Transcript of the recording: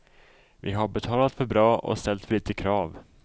Vi har betalat för bra och ställt för lite krav.